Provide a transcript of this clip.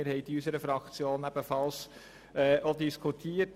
Wir haben sie in unserer Fraktion ebenfalls diskutiert.